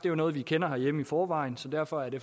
jo noget vi kender herhjemme i forvejen så derfor er det